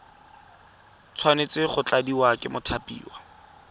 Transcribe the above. tshwanetse go tladiwa ke mothapiwa